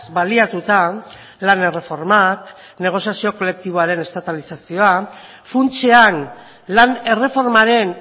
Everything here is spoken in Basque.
baliatuta lan erreformak negoziazioa kolektiboaren estatalizazioa funtsean lan erreformaren